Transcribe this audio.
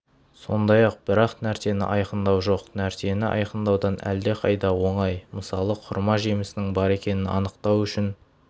сондай-ақ бар нәрсені айқындау жоқ нәрсені айқындаудан әлдеқайда оңай мысалы құрма жемісінің бар екенін анықтау үшін